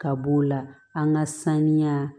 Ka b'o la an ka saniya